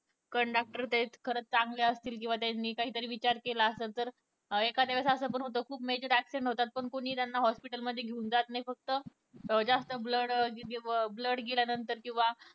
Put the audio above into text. conductor ते खरच चांगले असतील किंवा त्यांनी काही तरी विचार केला असेल तर एखाद्या वेळेस अस पण होत खुप major accident होतात पण कोनीही त्यांना hospital मध्ये घेऊन जात नाही फक्त जास्त blood गेल्या नंतर किंवा